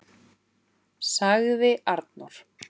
., sagði Arnór.